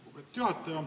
Lugupeetud juhataja!